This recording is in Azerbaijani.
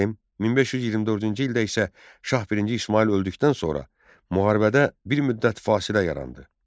1524-cü ildə isə Şah I İsmayıl öldükdən sonra müharibədə bir müddət fasilə yarandı.